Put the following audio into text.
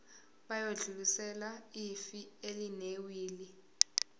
bayodlulisela ifa elinewili